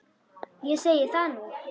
Ég segi það nú!